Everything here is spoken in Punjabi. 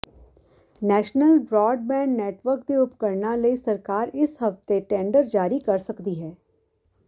ਨੈਸ਼ਨਲ ਬਰਾਡਬੈਂਡ ਨੈੱਟਵਰਕ ਦੇ ਉਪਕਰਣਾਂ ਲਈ ਸਰਕਾਰ ਇਸ ਹਫ਼ਤੇ ਟੈਂਡਰ ਜਾਰੀ ਕਰ ਸਕਦੀ ਹੈ